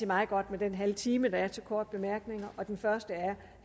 meget godt med den halve time der er til korte bemærkninger den første er